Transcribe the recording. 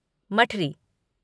मठरी